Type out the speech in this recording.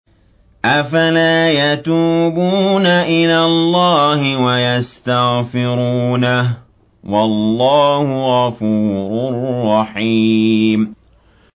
أَفَلَا يَتُوبُونَ إِلَى اللَّهِ وَيَسْتَغْفِرُونَهُ ۚ وَاللَّهُ غَفُورٌ رَّحِيمٌ